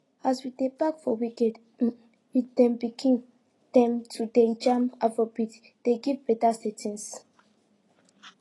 as we dey pack for weekend um with dem pikin dem to dey jam afrobeat dey give better settings